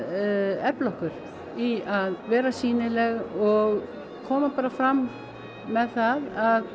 efla okkur í að vera sýnileg og koma fram með það að